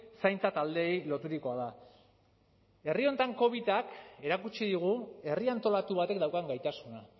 zaintza taldeei loturikoa da herri honetan covidak erakutsi digu herria antolatu batek daukan gaitasuna